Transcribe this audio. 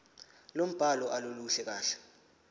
lombhalo aluluhle kahle